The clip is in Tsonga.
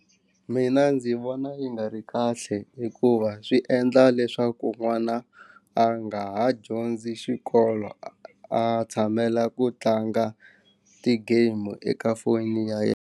Mina ndzi vona yi nga ri kahle hikuva swi endla leswaku n'wana a nga ha dyondzi xikolo a tshamela ku tlanga ti-game-u eka foni ya yena.